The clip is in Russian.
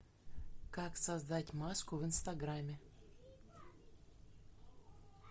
как создать маску в инстаграме